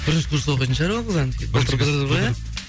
бірінші курста оқитын шығар ол қыз былтыр бітірді ғой иә